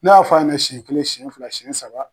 Ne y'a fɔ a ɲɛnɛ siyɛn kelen siyɛn fila siyɛn saba.